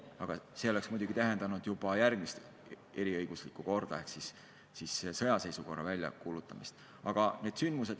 Aga see oleks muidugi tähendanud juba järgmise eriõigusliku korra ehk siis sõjaseisukorra väljakuulutamist.